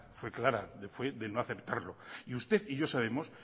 fue de no aceptarlo y usted y yo sabemos